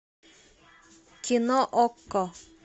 кино окко